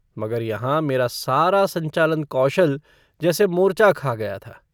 मगर यहाँ मेरा सारा संचालन-कौशल जैसे मोर्चा खा गया था।